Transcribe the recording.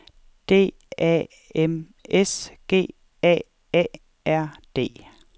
D A M S G A A R D